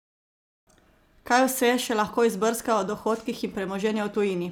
Kaj vse še lahko izbrskajo o dohodkih in premoženju v tujini?